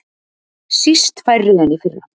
Síst færri en í fyrra